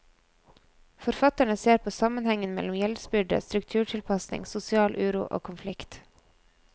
Forfatterne ser på sammenhengen mellom gjeldsbyrde, strukturtilpasning, sosial uro og konflikt.